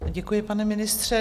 Děkuji, pane ministře.